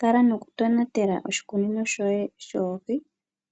Kala noku tonatela oshikunino shoye shoohi,